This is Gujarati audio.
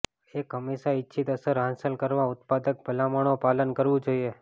એક હંમેશા ઇચ્છિત અસર હાંસલ કરવા ઉત્પાદક ભલામણો પાલન કરવું જોઈએ